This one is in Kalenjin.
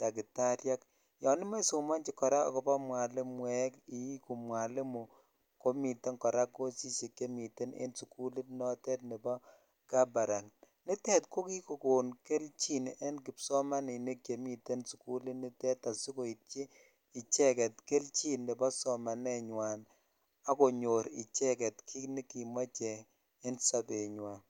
dakitaryekyon imoche kora isomochi ako mwalimueek iiku mwalimu komiten kora cosishek chemiten en sukulit notet nebo kabarak nitet ko kikokon kelchin en kpsomaninik chemi en sukulit nitet asikoityi icheget kelchin nebo somanenywan akonyo icheget kit nekimoche en sobenywan.